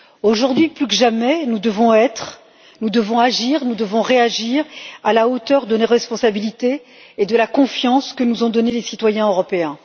Aujourd'hui, plus que jamais, nous devons être, nous devons agir, nous devons réagir à la hauteur de nos responsabilités et de la confiance que nous ont donnée les citoyens européens.